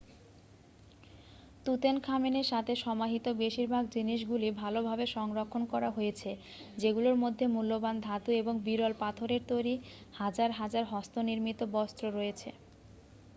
তুতেনখামেনের সাথে সমাহিত বেশিরভাগ জিনিসগুলি ভালভাবে সংরক্ষণ করা হয়েছে যেগুলোর মধ্যে মূল্যবান ধাতু এবং বিরল পাথরের তৈরি হাজার হাজার হস্তনির্মিত বস্তু রয়েছে